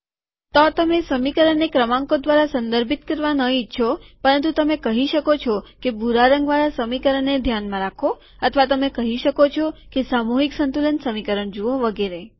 તો તમે સમીકરણને ક્રમાંકો દ્વારા સંદર્ભિત કરવા ન ઈચ્છો પરંતુ તમે કહી શકો છો કે ભૂરા રંગવાળા સમીકરણને ધ્યાનમાં રાખો અથવા તમે કહી શકો છો કે સામૂહિક સંતુલન સમીકરણ જુઓ વગેરે